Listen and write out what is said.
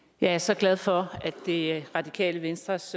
jeg er så glad for at det radikale venstres